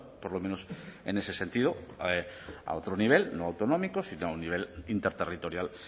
por lo menos en ese sentido a otro nivel no autonómico sino a nivel interterritorial